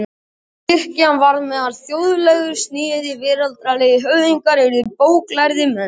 Kirkjan varð með þjóðlegu sniði og veraldlegir höfðingjar urðu bóklærðir menn.